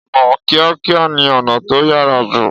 Ọ̀nà kíákíá ni ọ̀nà tó yára jù.